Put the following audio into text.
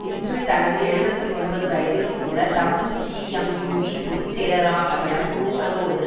இன்று தனது எழுபத்து ஒன்பது வயதிலும் கூட தம்பு சீஎம்யூவின் பொது செயலாளராக விளங்குவதோடு